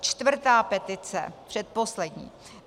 Čtvrtá petice, předposlední.